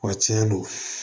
Wa tiɲɛ do